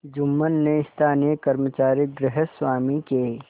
जुम्मन ने स्थानीय कर्मचारीगृहस्वामीके